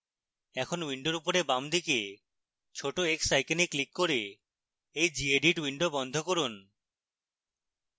এখন window উপরে বামদিকে ছোট x icon ক্লিক করে এই gedit window বন্ধ করুন